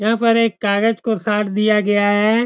यहाँ पर एक कागज को साट दिया गया है।